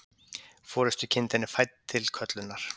Forystukindin er fædd til köllunar.